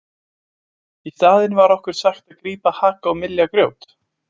Í staðinn var okkur sagt að grípa haka og mylja grjót.